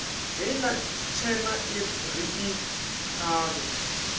heiḽa tshena ri i ṱhavhe